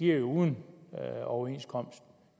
jo uden overenskomst